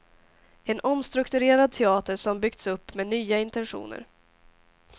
En omstrukturerad teater som byggts upp med nya intentioner.